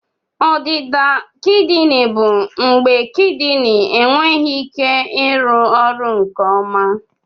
Ọdịda kidini bụ mgbe kidini enweghị ike ịrụ ọrụ nke ọma